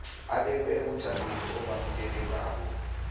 abekwe ebujameni obamukelekako